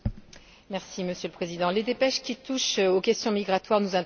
Monsieur le Président, les dépêches qui touchent aux questions migratoires nous interpellent.